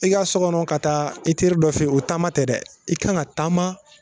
I ka sɔkɔnɔ ka taa e teri dɔ fe yen o taama tɛ dɛ i kan ka taama